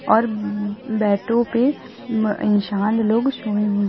और बैटों पे अं इंसान लोग सोए--